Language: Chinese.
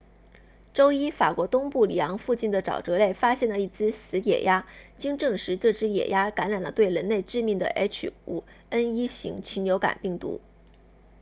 周一法国东部里昂附近的沼泽内发现了一只死野鸭经证实这只野鸭感染了对人类致命的 h5n1 型禽流感病毒